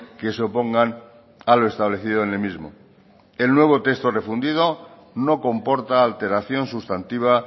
que se opongan a lo establecido en el mismo el nuevo texto refundido no comporta alteración sustantiva